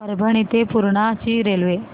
परभणी ते पूर्णा ची रेल्वे